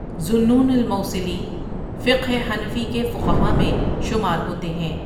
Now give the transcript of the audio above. ذُو النُّون المَوْصِلی فقہ حنفی کے فقہا میں شمار ہوتے ہیں ۔